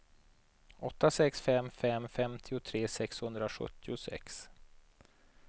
åtta sex fem fem femtiotre sexhundrasjuttiosex